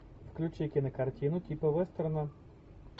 включи кинокартину типа вестерна